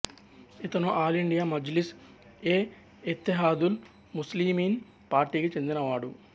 ఇతను all India Majlis e Ittehadul Muslimeen పార్టీకి చెందిన వాడు